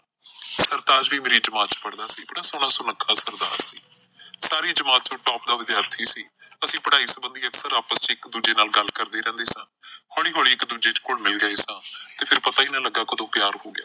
ਸਰਤਾਜ ਵੀ ਮੇਰੀ ਜਮਾਤ ਚ ਪੜ੍ਹਦਾ ਸੀ, ਬੜਾ ਸੋਹਣਾ ਸੁਨੱਖਾ ਸਰਦਾਰ। ਸਾਰੀ ਜਮਾਤ ਚੋ top ਦਾ ਵਿਦਿਆਰਥੀ ਸੀ। ਅਸੀਂ ਪੜ੍ਹਾਈ ਸੰਬੰਧੀ ਅਕਸਰ ਆਪਸ ਚ ਇੱਕ ਦੂਜੇ ਨਾਲ ਕਰਦੇ ਰਹਿੰਦੇ ਸਾਂ। ਹੌਲੀ ਹੌਲੀ ਇੱਕ ਦੂਜੇ ਚ ਘੁਲ਼ ਮਿਲ ਗਏ ਸਾਂ ਤੇ ਫਿਰ ਪਤਾ ਈ ਨਈਂ ਲੱਗਾ ਕਦੋਂ ਪਿਆਰ ਹੋ ਗਿਆ।